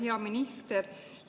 Hea minister!